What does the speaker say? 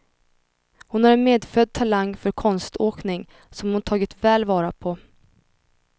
Hon har en medfödd talang för konståkning, som hon tagit väl vara på.